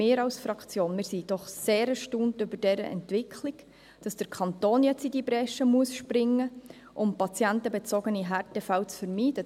Wir als Fraktion sind sehr erstaunt über diese Entwicklung, dass der Kanton jetzt in diese Bresche springen muss, um patientenbezogene Härtefälle zu vermeiden.